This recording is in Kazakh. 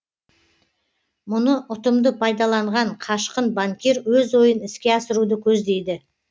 мұны ұтымды пайдаланған қашқын банкир өз ойын іске асыруды көздейді